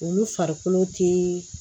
Olu farikolo te